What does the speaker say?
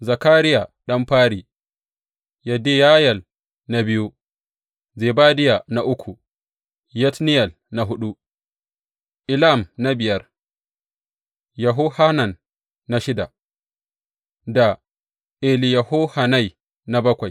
Zakariya ɗan fari, Yediyayel na biyu, Zebadiya na uku, Yatniyel na huɗu, Elam na biyar, Yehohanan na shida da Eliyehoyenai na bakwai.